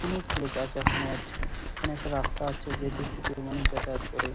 অনেক লোক আছে এইখানে আজকে এখানে একটা রাস্তা আছে যে দিক থেকে মানুষ যাতায়াত করে ।